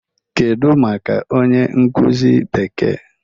Kedu maka onye nkuzi Bekee?